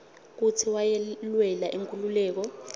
kutsi wayelwela inkhululeko